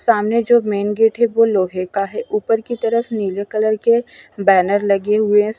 सामने जो main gate हैं वो लोहे का हैं ऊपर की तरफ नीले कलर के बॅनर लगे हुए हैं स --